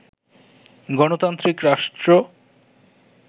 গণতান্ত্রিক রাষ্ট্র